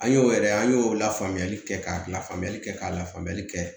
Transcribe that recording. An y'o yɛrɛ an y'o la faamuyali kɛ ka lafaamuyali kɛ ka lafaamuyali kɛ